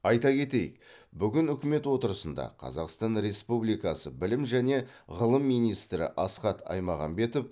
айта кетейік бүгін үкімет отырысында қазақстан республикасы білім және ғылым министрі асхат аймағамбетов